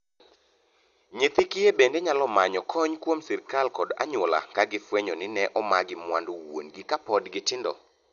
Nyithii kiye bende nyalo manyo kony kuom sirkal kod anyuola ka gifwenyo ni ne omagi mwandu wuongi kapod gitindo.